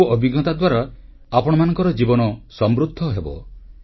ଏସବୁ ଅଭିଜ୍ଞତା ଦ୍ୱାରା ଆପଣମାନଙ୍କ ଜୀବନ ସମୃଦ୍ଧ ହେବ